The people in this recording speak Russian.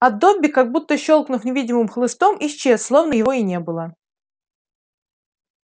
а добби как будто щёлкнув невидимым хлыстом исчез словно его и не было